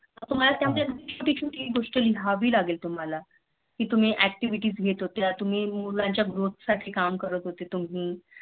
लिहावी लागेल तुम्हाला कि तुम्ही Activity घेत होत्या मुलांच्या Growth साठी काम करत होते तुम्ही